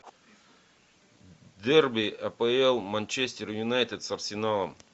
дерби апл манчестер юнайтед с арсеналом